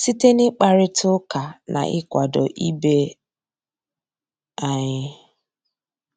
síté ná ị́kpàrị́tá ụ́ká ná ị́kwàdó ìbé ànyị́.